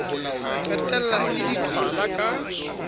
qetella e le diqhwala ka